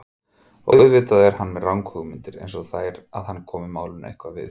Og auðvitað er hann með ranghugmyndir einsog þær að hann komi málinu eitthvað við.